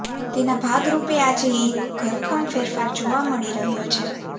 તેના ભાગરૂપે આજે એક ઘરખમ ફેરફાર જોવા મળી રહ્યો છે